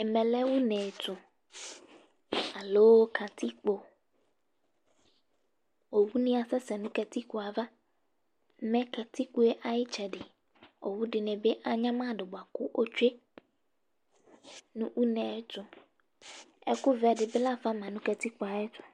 Ɛmɛ lɛ une ɛtʋ ,aloo ƙatiƙpoOwu nɩ asɛsɛ nʋ ƙatiƙpo ava; mɛ ƙatiƙpoe aƴɩtsɛɖɩ, owu ɖɩnɩ bɩ anƴamaɖʋ bʋa ƙʋ otsue nʋ une ɛtʋƐƙʋ vɛ ɖɩ bɩ lafa ma nʋ ƙatiƙpoe aƴɛtʋ